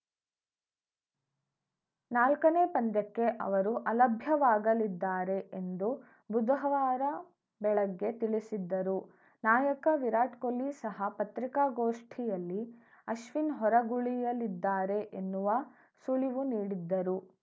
ನಾಲ್ಕನೇ ಪಂದ್ಯಕ್ಕೆ ಅವರು ಅಲಭ್ಯರಾಗಲಿದ್ದಾರೆ ಎಂದು ಬುಧವಾರ ಬೆಳಗ್ಗೆ ತಿಳಿಸಿದ್ದರು ನಾಯಕ ವಿರಾಟ್‌ ಕೊಹ್ಲಿ ಸಹ ಪತ್ರಿಕಾ ಗೋಷ್ಠಿಯಲ್ಲಿ ಅಶ್ವಿನ್‌ ಹೊರಗುಳಿಯಲಿದ್ದಾರೆ ಎನ್ನುವ ಸುಳಿವು ನೀಡಿದ್ದರು